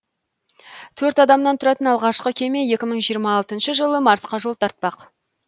төрт адамнан тұратын алғашқы кеме екі мың жиырма алтыншы жылы марсқа жол тартпақ